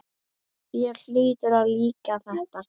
Þér hlýtur að líka þetta?